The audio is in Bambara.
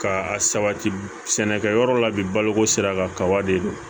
Ka a sabati sɛnɛkɛ yɔrɔ la bi baloko sira kan kaba de don